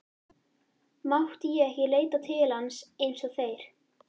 Mátti ég ekki leita til hans eins og þeir?